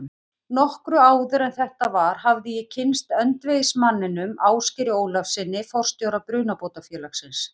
Nokkru áður en þetta var hafði ég kynnst öndvegismanninum, Ásgeiri Ólafssyni, forstjóra Brunabótafélagsins.